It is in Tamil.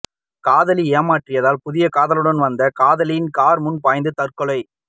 காதலி ஏமாற்றியதால் புதிய காதலனுடன் வந்த காதலி கார் முன் பாய்ந்து தற்கொலை